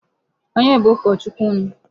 Onye bụ ụkọ Chukwu unu?